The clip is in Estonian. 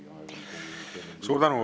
Suur tänu!